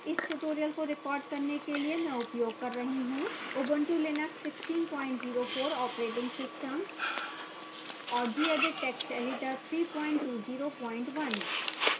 इस tutorial को record करने के लिए मैं उपयोग कर रही हूँubuntu linux 1604 operating system और gedit text editor 3201